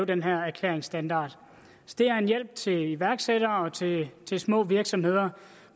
den her erklæringsstandard så det er en hjælp til iværksættere og til små virksomheder